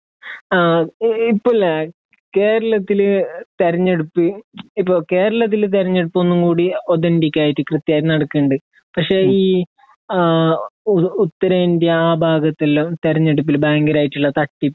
ആ ഇപ്പോ ഇല്ലേ കേരളത്തില് തിരഞ്ഞെടുപ്പ് ഇപ്പോ കേരളത്തിലെ തിരഞ്ഞെടുപ്പ് ഒന്നും കൂടി ഓഥന്റിക് ആയിട്ട് കൃത്യായിട്ട് നടക്കുന്നുണ്ട് പക്ഷേ ഈ ആ ഉത്തരേന്ത്യ ആ ഭാഗത്ത് എല്ലാം തിരഞ്ഞെടുപ്പില് ഭയങ്കരായിട്ടുള്ള തട്ടിപ്പ്